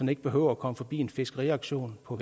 ikke behøver at komme forbi en fiskeauktion på